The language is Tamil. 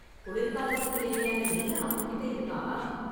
குளிர்காலத்துக்கு தேவையான எல்லாம் அவங்க கிட்ட இருக்கா?